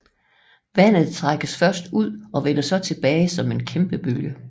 Vandet trækkes først ud og vender så tilbage som en kæmpebølge